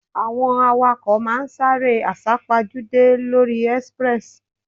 Àwọn awakọ̀ ma ń sáré àsá-pojúdé lóri express.